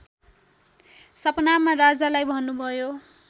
सपनामा राजालाई भन्नुभयो